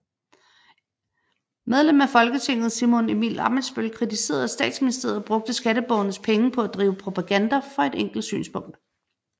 MF Simon Emil Ammitzbøll kritiserede at Statsministeriet brugte skatteborgernes penge på at drive propaganda for et bestemt synspunkt